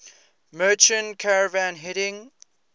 merchant caravan heading